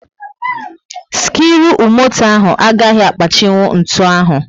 skiruumoto ahụ agaghị akpachinwu ntụ ahụ